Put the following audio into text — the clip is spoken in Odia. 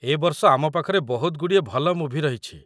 ଏ ବର୍ଷ ଆମ ପାଖରେ ବହୁତ ଗୁଡ଼ିଏ ଭଲ ମୁଭି ରହିଛି।